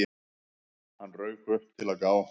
Hann rauk upp, til að gá að